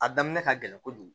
A daminɛ ka gɛlɛn kojugu